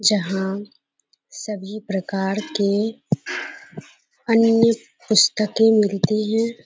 जहाँ सभी प्रकार के अन्य पुस्तकें मिलतीं हैं।